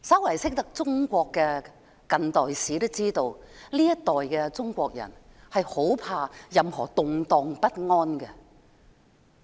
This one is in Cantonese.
略懂中國近代史的人都知道，這一代中國人很害怕有任何動盪不安。